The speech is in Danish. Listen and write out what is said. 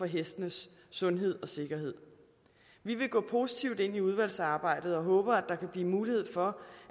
hestenes sundhed og sikkerhed vi vil gå positivt ind i udvalgsarbejdet og håber at der kan blive mulighed for